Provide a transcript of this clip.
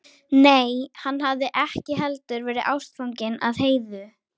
Nei, hann hafði ekki heldur verið ástfanginn af Heiðu.